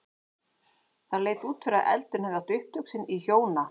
Það leit út fyrir að eldurinn hefði átt upptök sín í hjóna